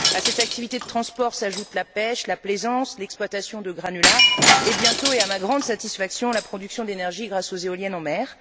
À cette activité de transport s'ajoutent la pêche, la plaisance, l'exploitation de granulats et bientôt et à ma grande satisfaction la production d'énergie grâce aux éoliennes en mer.